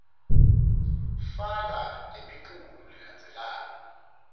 faka lemiculu lelandzelako